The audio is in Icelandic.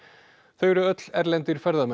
þau eru öll erlendir ferðamenn